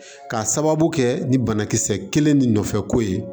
K'a sababu kɛ ni banakisɛ kelen ni nɔfɛ ko ye